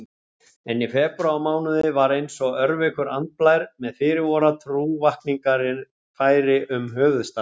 En í febrúarmánuði var einsog örveikur andblær með fyrirboða trúarvakningar færi um höfuðstaðinn.